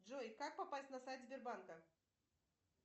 джой как попасть на сайт сбербанка